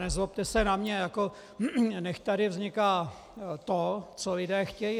Nezlobte se na mě, jako nechť tady vzniká to, co lidé chtějí.